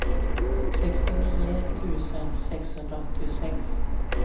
sextionio tusen sexhundraåttiosex